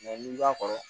n'i b'a kɔrɔ